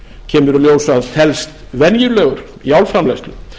kemur í ljós að felst venjulegur í álframleiðslu